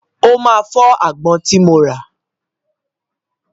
Ó máa fọ́ àgbọn tí mo rà.